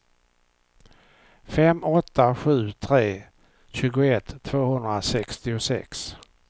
fem åtta sju tre tjugoett tvåhundrasextiosex